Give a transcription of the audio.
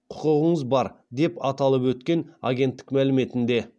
құқығыңыз бар деп аталып өткен агенттік мәліметінде